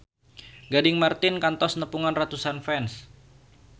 Gading Marten kantos nepungan ratusan fans